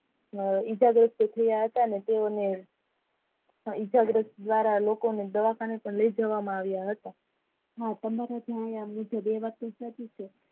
ઈજાગ્રસ્ત થયા હતા અને તેવો ને ઈજાગ્રસ્ત દ્વારા લોકોનું દવાખાને પણ લઈ જવામાં આવિયા હતા હા તમારા માં એ વાત સાચી છે